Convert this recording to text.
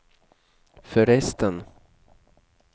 förresten